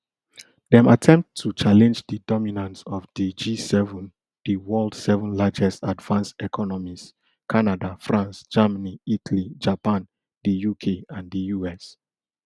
dem attempt to challenge di dominance of di gseven di world seven largest advanced economies canada france germany italy japan di uk and di us